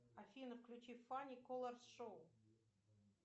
афина включи фани колорс шоу